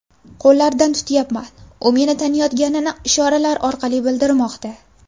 Qo‘llaridan tutyapman, u meni taniyotganini ishoralar orqali bildirmoqda.